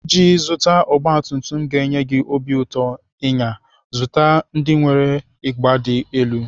Iji zụta ọgbatumtum ga-enye gị obi ụtọ ịnya, zụta ndị nwere ịgba dị elu.